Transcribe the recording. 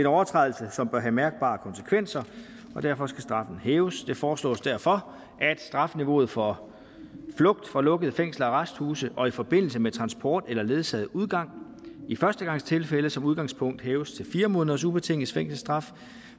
overtrædelse som bør have mærkbare konsekvenser og derfor skal straffen hæves det foreslås derfor at strafniveauet for flugt fra lukkede fængsler og arresthuse og i forbindelse med transport eller ledsaget udgang i førstegangstilfælde som udgangspunkt hæves til fire måneders ubetinget fængselsstraf